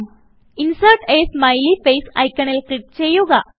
insert a smiley face ഐക്കണിൽ click ചെയ്യുക